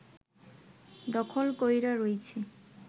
দখল কইরা রইছে